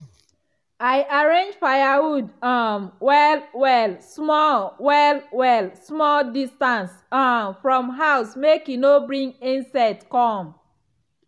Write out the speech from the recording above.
i arrange firewood um well-well small well-well small distance um from house make e no bring insects come.